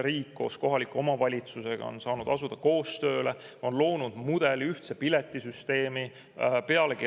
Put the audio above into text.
Riik koos kohaliku omavalitsusega on saanud asuda koostööle, on loonud mudeli, ühtse piletisüsteemi.